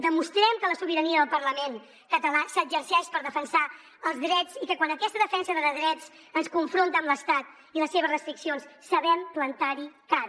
demostrem que la sobirania del parlament català s’exerceix per defensar els drets i que quan aquesta defensa de drets ens confronta amb l’estat i les seves restriccions sabem plantar hi cara